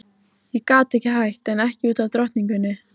Ég gat ekki hætt, en ekki út af drottningunni.